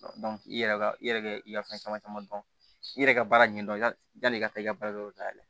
i yɛrɛ ka i yɛrɛ kɛ i ka fɛn caman caman dɔn i yɛrɛ ka baara ɲɛdɔn yani i ka taa i ka baara da yɛlɛ